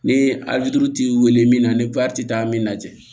Ni ali t'i weele min na ni ti taa min na